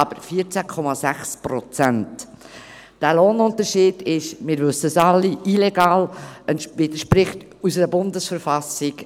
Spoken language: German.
Dieser Lohnunterschied ist – wir alle wissen es – illegal, er widerspricht unserer Bundesverfassung.